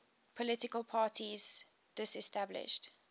political parties disestablished